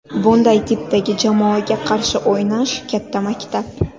Bunday tipdagi jamoaga qarshi o‘ynash katta maktab.